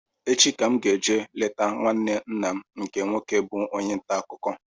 Echi ka mụ ga-eje leta nwanne nna m nke nwoke bụ onye ntaakụkọ